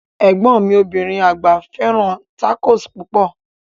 Egbọn mi obirin agba fẹràn tacos pupọ.